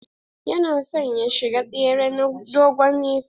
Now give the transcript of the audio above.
Yana son ya shiga tsere na dogon nesa.